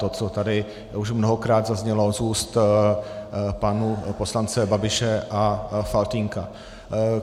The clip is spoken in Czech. To, co tady už mnohokrát zaznělo z úst pánů poslanců Babiše a Faltýnka.